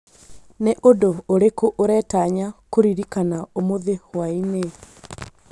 nĩ ũndũ ũrĩkũ ũretanya kũririkana ũmũthĩ hwaĩinĩ